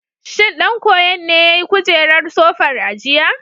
Shin ɗan koyon ne ya yi kujerar sofar a jiya?